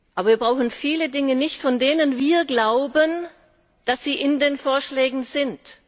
Aber wir brauchen viele Dinge nicht, von denen wir glauben, dass sie in den Vorschlägen drinnen sind.